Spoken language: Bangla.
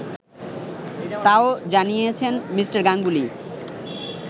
তাও জানিয়েছেন মি. গাঙ্গুলি